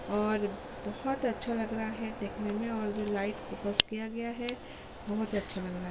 और बहोत अच्छा लग रहा है देखने में और लाइट फोकस किया गया है बहोत अच्छा लगा रहा है।